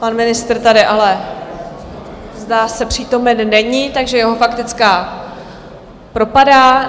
Pan ministr tady ale, zdá se, přítomen není, takže jeho faktická propadá.